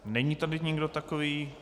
Není tady nikdo takový.